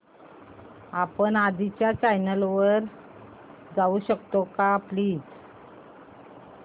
आपण आधीच्या चॅनल वर जाऊ शकतो का प्लीज